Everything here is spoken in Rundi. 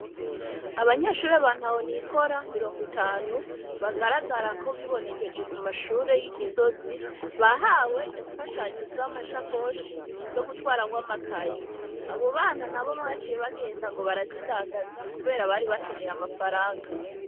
Abanyeshuri bantu ahonikora mirongo itanu bagaragara ko bibonekeje ku mashure y'igisozi bahawe imfashanyo z'amasha koshi yo gutwaramwo amakayi abo bana na bo baciye bagenda ngo barazidandaza, kubera bari bakeneye amafaranga.